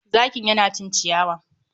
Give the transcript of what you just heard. zakin ya na cin ciyawa.